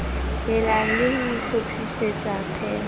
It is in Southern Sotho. helang le ho hlophisetsa pan